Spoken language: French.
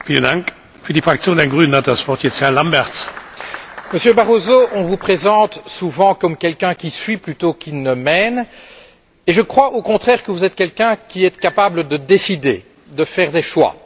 Monsieur le Président, Monsieur Barroso, on vous présente souvent comme quelqu'un qui suit plutôt qu'il ne mène. Je crois, au contraire, que vous êtes quelqu'un qui est capable de décider et de faire des choix.